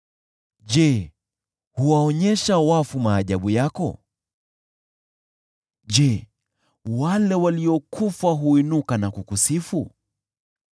Je, wewe huwaonyesha wafu maajabu yako? Je, wale waliokufa huinuka na kukusifu?